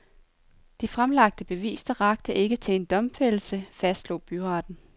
De fremlagte beviser rakte ikke til en domfældelse, fastslog byretten.